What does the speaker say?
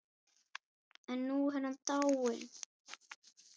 En nú er hann dáinn.